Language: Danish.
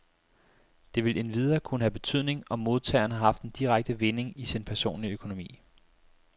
Det vil endvidere kunne have betydning, om modtageren har haft en direkte vinding i sin personlige økonomi.